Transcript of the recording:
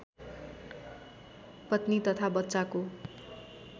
पत्नी तथा बच्चाको